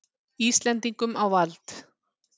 Íslendingum á vald.